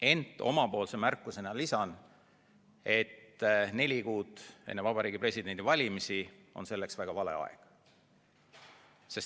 Ent omapoolse märkusena lisan, et neli kuud enne Vabariigi Presidendi valimisi on muudatuste tegemiseks väga vale aeg.